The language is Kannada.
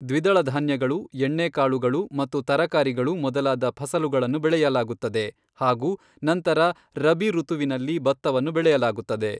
ದ್ವಿದಳ ಧಾನ್ಯಗಳು, ಎಣ್ಣೆಕಾಳುಗಳು ಮತ್ತು ತರಕಾರಿಗಳು ಮೊದಲಾದ ಫಸಲುಗಳನ್ನು ಬೆಳೆಯಲಾಗುತ್ತದೆ ಹಾಗು ನಂತರ ರಬಿ ಋತುವಿನಲ್ಲಿ ಭತ್ತವನ್ನು ಬೆಳೆಯಲಾಗುತ್ತದೆ.